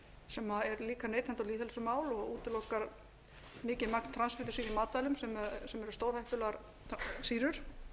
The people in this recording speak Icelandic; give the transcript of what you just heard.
sem er líka neytenda og lýðheilsumál og útilokar mikið magn transfitusýra í matvælum sem eru stórhættulegar sýrur